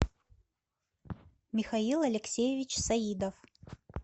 михаил алексеевич саидов